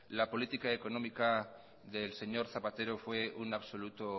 la política económica del señor zapatero fue un absoluto